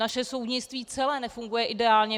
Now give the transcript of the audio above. Naše soudnictví celé nefunguje ideálně.